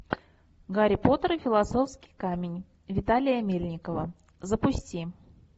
гарри поттер и философский камень виталия мельникова запусти